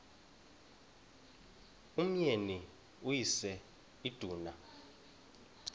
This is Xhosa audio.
umyeni uyise iduna